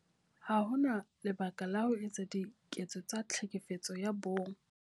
Ha ho na lebaka la ho etsa diketso tsa Tlhekefetso ya Bong.